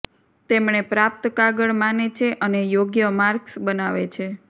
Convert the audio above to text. તેમણે પ્રાપ્ત કાગળ માને છે અને યોગ્ય માર્ક્સ બનાવે છે